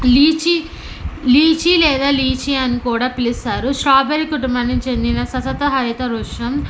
Lychee lychee లేదా lychee అని కూడా పిలుస్తారు. స్టాబెరి కుటుంబానికి చెందిన ససత హైత వృక్షం.